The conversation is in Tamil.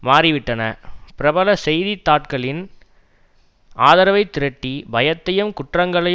மாறிவிட்டன பிரபல செய்தித்தாட்களின் ஆதரவை திரட்டி பயத்தையும் குற்றங்களை